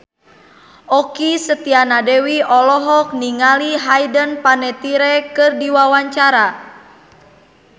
Okky Setiana Dewi olohok ningali Hayden Panettiere keur diwawancara